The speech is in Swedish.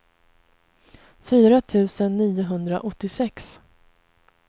fyra tusen niohundraåttiosex